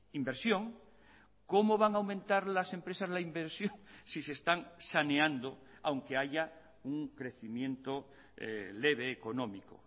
inversión cómo van a aumentar las empresas la inversión si se están saneando aunque haya un crecimiento leve económico